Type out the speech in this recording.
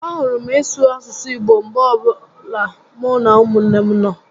A hụrụ m ịsụ asụsụ Igbo mgbe ọbụla mụ na umunne m nọ